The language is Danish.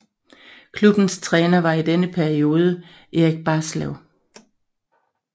Klubbens træner var i denne periode Erik Barslev